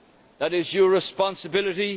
that is your responsibility